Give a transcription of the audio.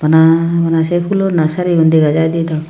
bana bana se phoolo nursery gun dega jiy di dw.